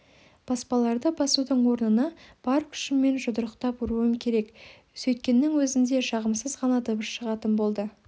баспаларды басудың орнына бар күшіммен жұдырықтап ұруым керек сөйткеннің өзінде жағымсыз ғана дыбыс шығатын болды